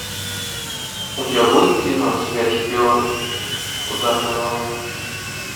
у тебя будет кино смерть шпиона ударная волна